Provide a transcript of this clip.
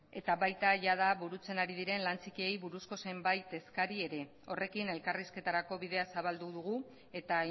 baita jada burutzen ari diren lan txikiei buruzko zenbait eskari ere horrekin elkarrizketarako bidea zabaldu dugu eta